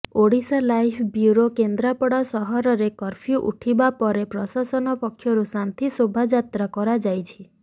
Odisha live bureau କେନ୍ଦ୍ରପଡ଼ାରେ ସହରରେ curfew ଉଠିବା ପରେ ପ୍ରଶାସନ ପକ୍ଷରୁ ଶାନ୍ତି ଶୋଭାଯାତ୍ରା କରାଯାଇଛି